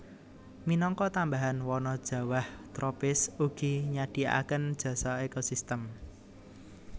Minangka tambahan wana jawah tropis ugi nyadhiaaken jasa ekosistem